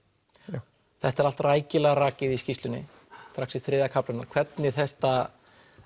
já þetta er allt rækilega rakið í skýrslunni strax í þriðja kaflanum hvernig þetta